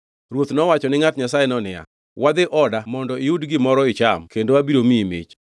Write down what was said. Ruoth nowacho ni ngʼat Nyasayeno niya, “Wadhi oda mondo iyud gimoro icham kendo abiro miyi mich.”